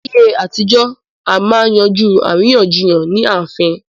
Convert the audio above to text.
Láyé àtijọ́, à máa ń yanjú àríyànjiyàn ní ààfín